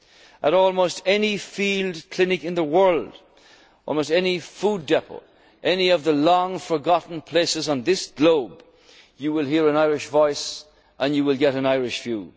has been exemplary. At almost any field clinic in the world, any food depot, any of the long forgotten parts on this globe, you will hear an Irish voice and you will